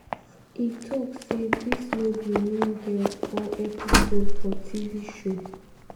e tok say "dis no be mean girls or episode for tv show.